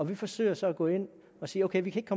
vi forsøger så at gå ind og sige ok vi kan